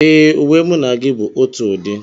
Ee, uwe mụ na gị bu ótụ ụdị